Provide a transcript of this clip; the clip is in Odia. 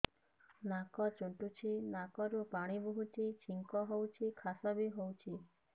ନାକ ଚୁଣ୍ଟୁଚି ନାକରୁ ପାଣି ବହୁଛି ଛିଙ୍କ ହଉଚି ଖାସ ବି ହଉଚି